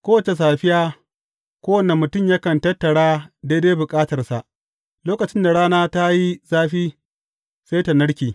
Kowace safiya, kowanne mutum yakan tattara daidai bukatarsa, lokacin da rana ta yi zafi, sai ta narke.